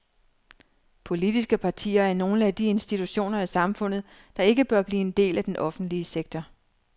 Politiske partier er nogle af de institutioner i samfundet, der ikke bør blive en del af den offentlige sektor.